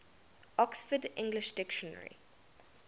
oxford english dictionary